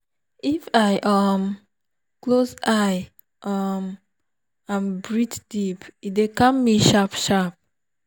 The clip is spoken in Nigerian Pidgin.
if i um close eye um and breathe deep e dey calm me sharp-sharp.